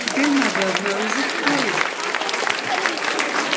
теперь надо обнаружить поезд